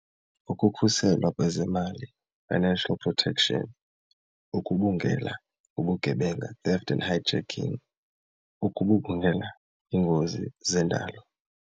Ukukhuselwa kwezemali financial protection, ukubungela ubugebenga theft and hijacking, ukugubungela iingozi zendalo.